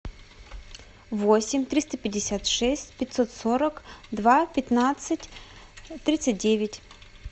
восемь триста пятьдесят шесть пятьсот сорок два пятнадцать тридцать девять